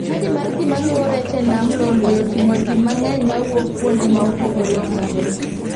Chadi mar ji maluwo rech e nam lolwe otingo ji ma ng'eny ma wouk kuonde ma opogore opogore.